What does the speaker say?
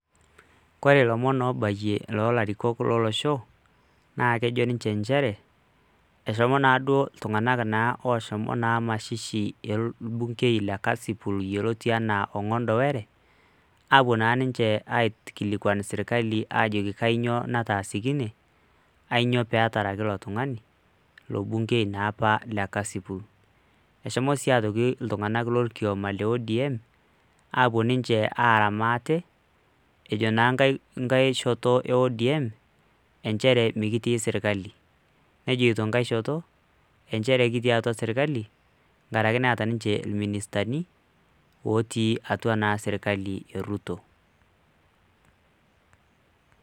Kore lomon loobayie loo larikok lo losho naake ejo ninje njere, eshomo naa duo iltung'anak inaang' oshomo naa mashishi orbungei le kasipul, yioloti enaa Ong'ondo Were apuo naa ninje aikilikuan serkali ajoki kianyoo nataasakine, ainyoo peetarki ilo tung'ani, ilo bungei naa apa le kasipul. Eshomo si ajoki iltung'anak lorkioma le ODM aapuo ninje aara maate ejo naa nkae shoto e ODM enjere mekitii serkali, nejito enkae shoto enjere kitii atua serkali nkaraki naa eeta ninje irministani ootii atua naa serkali e Ruto.